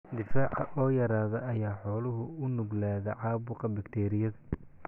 Difaaca oo yaraada ayaa xooluhu u nuglaadaan caabuqa bakteeriyada.